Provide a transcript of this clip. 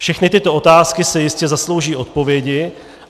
Všechny tyto otázky si jistě zaslouží odpovědi.